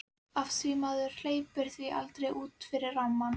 Af því maður hleypir því aldrei út fyrir rammann.